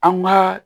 An ma